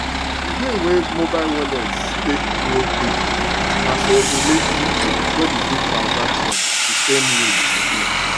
the way wey mobile wallets take grow quick naso e make people no dey do transaction the same way again